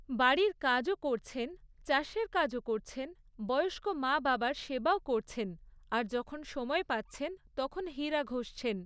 বাড়ির কাজও করছেন, চাষের কাজও করছেন, বয়স্ক মা বাবার সেবাও করছেন আর যখন সময় পাচ্ছেন তখন হীরা ঘষছেন।